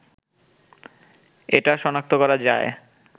এটা শনাক্ত করা যায়